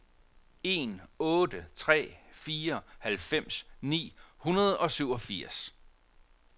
en otte tre fire halvfems ni hundrede og syvogfirs